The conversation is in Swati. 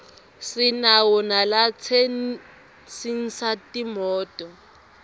sinawo nalatsensisa timoto